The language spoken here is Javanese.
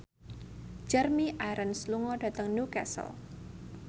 Jeremy Irons lunga dhateng Newcastle